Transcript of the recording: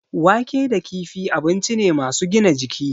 Wake da kifi abinci ne masu gina jiki.